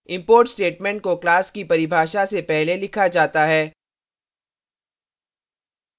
import statement को class की परिभाषा से पहले लिखा जाता है